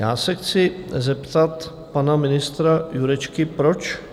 Já se chci zeptat pana ministra Jurečky, proč?